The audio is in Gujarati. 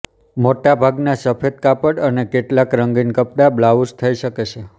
મોટા ભાગના સફેદ કાપડ અને કેટલાક રંગીન કપડાં બ્લાઉચ થઈ શકે છે